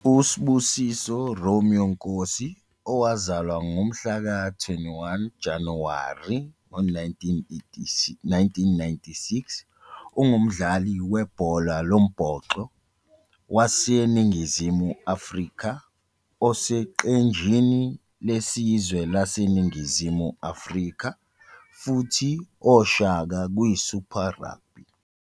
US'busiso Romeo Nkosi owazalwa ngomhlaka 21 Januwari 1996 ungumdlali webhola lombhoxo waseNingizimu Afrika oseqenjini lesizwe laseNingizimu Afrika futhi Oshaka kwiSuper Rugby.